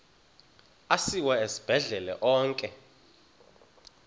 asiwa esibhedlele onke